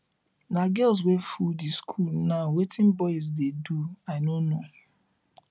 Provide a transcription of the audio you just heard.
na girls wey full the school now wetin boys dey do i no know